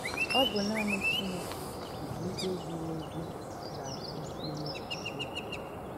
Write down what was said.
Ọ bụ nanị Chineke nke ikpe ziri ezi ga - akwụsịli ya.